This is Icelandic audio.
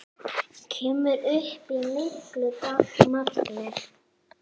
Kemur upp í miklu magni.